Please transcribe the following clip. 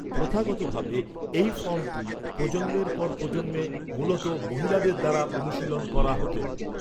প্রথাগতভাবে, এই ফর্মটি, প্রজন্মের পর প্রজন্মে, মূলত মহিলাদের দ্বারা অনুশীলন করা হত।